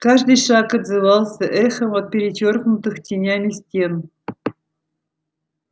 каждый шаг отзывался эхом от перечёркнутых тенями стен